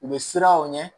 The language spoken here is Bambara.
U bɛ siran aw ɲɛ